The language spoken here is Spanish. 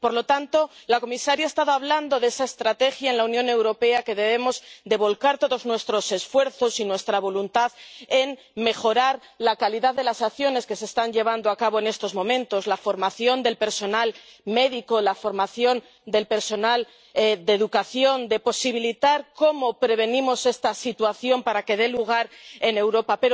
Por lo tanto, la comisaria ha estado hablando de esa estrategia en la Unión Europea en la que debemos volcar todos nuestros esfuerzos y nuestra voluntad para mejorar la calidad de las acciones que se están llevando a cabo en estos momentos la formación del personal médico la formación del personal de educación posibilitar la prevención de esta situación para que no se dé en Europa.